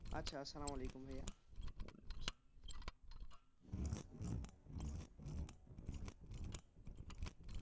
আচ্ছা আসসালামুয়ালিকুম ভাইয়া।